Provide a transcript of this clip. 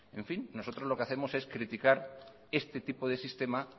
nosotros lo que hacemos es criticar este tipo de sistema